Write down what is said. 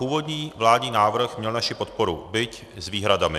Původní vládní návrh měl naši podporu, byť s výhradami.